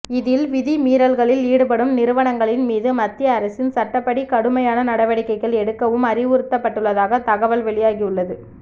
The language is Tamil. இதில் விதிமீறல்களில் ஈடுபடும் நிறுவனங்களின் மீது மத்திய அரசின் சட்டப்படி கடுமையான நடவடிக்கைகள் எடுக்கவும் அறிவுறுத்தப்பட்டுள்ளதாக தகவ்ல் வெளியாகி உள்ளது